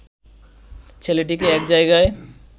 ছেলেটিকে এক জায়গায়